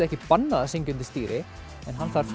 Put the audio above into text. ekki bannað að syngja undir stýri en hann þarf